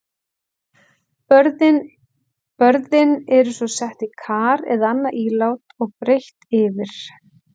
Börðin eru svo sett í kar eða annað ílát og breitt yfir.